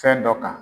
Fɛn dɔ kan